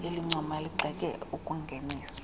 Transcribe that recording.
elincoma ligxeke okungeniselwe